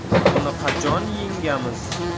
Uni qachon yengamiz?.